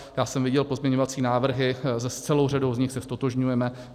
Já jsem viděl pozměňovací návrhy, s celou řadou z nich se ztotožňujeme.